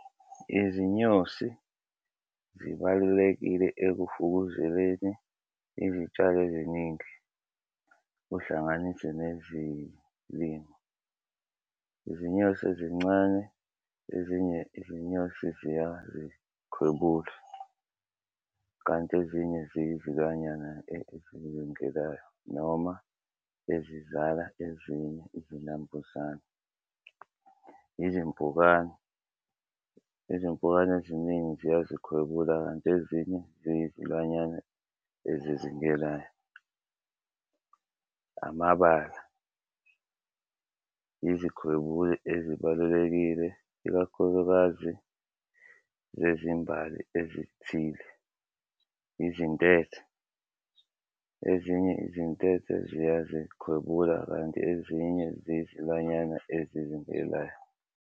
Izinyosi zibalulekile ekufukuzeleni izitshalo eziningi, kuhlanganise nezilimo. Izinyosi ezincane ezinye izinyosi ziyazikhwebula kanti ezinye ezizingelayo noma ezizala ezinye izinambuzane. Izimpkane izimpukane eziningi ziyazikhwebula, kanti ezinye ziyizilwanyana ezizingelayo. Amabala izikhwebuli ezibalulekile ikakhulukazi zezimbali ezithile. Izintethe. Ezinye izintethe ziyazikhwebula kanti ezinye zizilwanyana ezizingelayo.